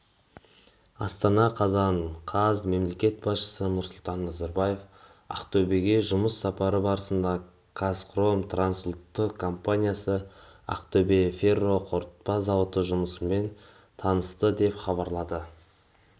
астана қазан қаз мемлекет басшысы нұрсұлтан назарбаев ақтөбеге жұмыс сапары барысында қазхром трансұлттық компаниясы ақтөбе ферроқорытпа зауыты жұмысымен танысты деп хабарлады